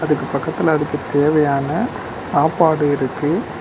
அதற்கு பக்கத்துல அதுக்கு தேவையான சாப்பாடு இருக்கு.